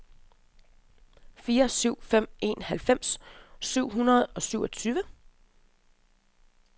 fire syv fem en halvfems syv hundrede og syvogtyve